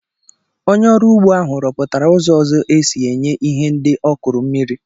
Onye ọrụ ugbo ahụ rọpụtara ụzọ ọzọ esi enye ihe ndị ọ kụrụ mmiri.